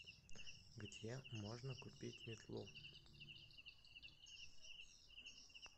где можно купить метлу